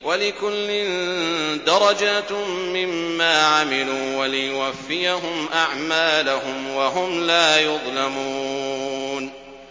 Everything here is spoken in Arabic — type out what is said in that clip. وَلِكُلٍّ دَرَجَاتٌ مِّمَّا عَمِلُوا ۖ وَلِيُوَفِّيَهُمْ أَعْمَالَهُمْ وَهُمْ لَا يُظْلَمُونَ